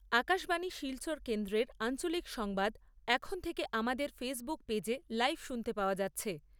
আকাশবাণী শিলচর কেন্দ্রের আঞ্চলিক সংবাদ এখন থেকে আমাদের ফেইসবুক পেজে লাইভ শুনতে পাওয়া যাচ্ছে।